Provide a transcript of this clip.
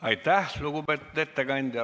Aitäh, lugupeetud ettekandja!